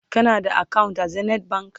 kana da akawunt a zenith bank?